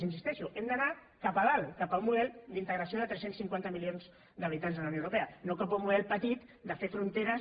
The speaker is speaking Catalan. hi insisteixo hem d’anar cap a dalt cap a un model d’integració de tres cents i cinquanta milions d’habitants de la unió europea no cap a un model petit de fer fronteres